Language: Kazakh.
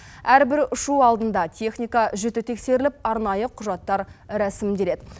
әрбір ұшу алдында техника жіті тексеріліп арнайы құжаттар рәсімделеді